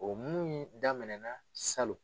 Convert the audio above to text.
O minnu in daminɛ na salon.